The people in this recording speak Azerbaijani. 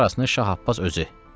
Bir parasını Şah Abbas özü.